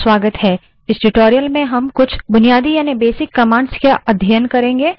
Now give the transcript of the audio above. इस tutorial में हम कुछ basic commands का अध्ययन करेंगे